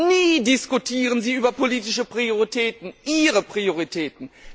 Nie diskutieren sie über politische Prioritäten, ihre Prioritäten.